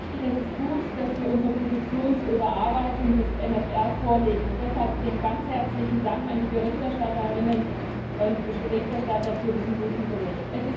Ja, es ist wichtig, es ist gut, dass wir unsere Position zur Überarbeitung des MFR vorlegen, und deshalb einen ganz herzlichen Dank an die Berichterstatterinnen und Berichterstatter für diesen guten Bericht.